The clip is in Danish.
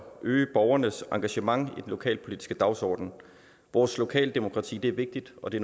øge borgernes engagement i den lokalpolitiske dagsorden vores lokaldemokrati er vigtigt og det